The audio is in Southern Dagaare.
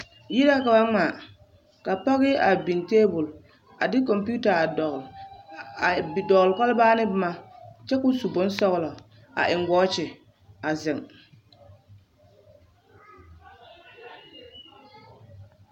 Yiri la ka ba ŋmaa ka pɔɡe a biŋ taabul ka kɔmpiita a dɔɔl a biŋ kɔlbaa ane boma kyɛ ka o su bonsɔɡelɔ a eŋ wɔɔkyi a zeŋ.